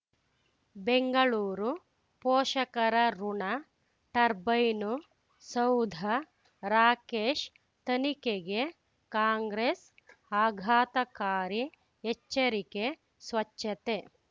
ಬೆಂಗಳೂರು ಪೋಷಕರಋಣ ಟರ್ಬೈನು ಸೌಧ ರಾಕೇಶ್ ತನಿಖೆಗೆ ಕಾಂಗ್ರೆಸ್ ಆಘಾತಕಾರಿ ಎಚ್ಚರಿಕೆ ಸ್ವಚ್ಛತೆ